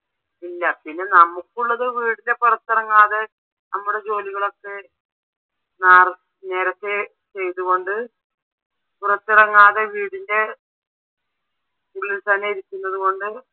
ഇല്ല പിന്നെ നമുക്കുള്ളത് വീടിൻ്റെ പുറത്തിറങ്ങാതെ നമ്മടെ ജോലികളൊക് നേരത്തെ ചെയ്തുകൊണ്ട് പുറത്തിറങ്ങാതെ വീടിൻ്റെ ഉള്ളിൽ തന്നെ ഇരിക്കുന്നത് കൊണ്ട്